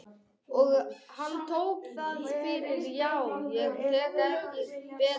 Og hann tók það fyrir já, ég gat ekki betur séð.